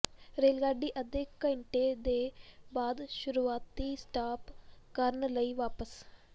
rail ਗੱਡੀ ਅੱਧੇ ਘੰਟੇ ਦੇ ਬਾਅਦ ਸ਼ੁਰੂਆਤੀ ਸਟਾਪ ਕਰਨ ਲਈ ਵਾਪਸ